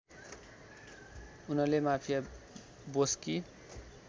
उनले माफिया बोसकी